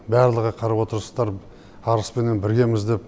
барлығы қарап отырсыздар арыспенен біргеміз деп